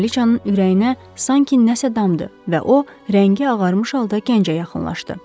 Kraliçanın ürəyinə sanki nəsə damdı və o, rəngi ağarmış halda gəncə yaxınlaşdı.